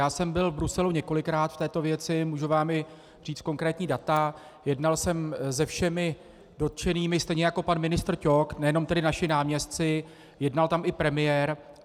Já jsem byl v Bruselu několikrát v této věci, můžu vám i říct konkrétní data, jednal jsem se všemi dotčenými, stejně jako pan ministr Ťok, nejenom tedy naši náměstci, jednal tam i premiér.